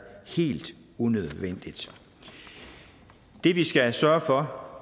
helt unødvendigt det vi skal sørge for